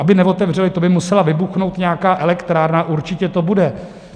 Aby neotevřely, to by musela vybuchnout nějaká elektrárna, určitě to bude!